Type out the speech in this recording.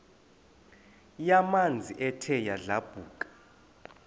yamanzi ethe yadlabhuka